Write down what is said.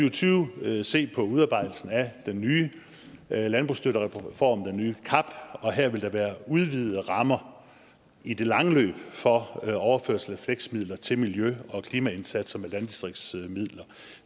og tyve se på udarbejdelsen af den nye landbrugsstøttereform den nye cap og her vil der være udvidede rammer i det lange løb for overførsel af fleksmidler til miljø og klimaindsatser med landdistriktsmidler